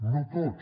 no tots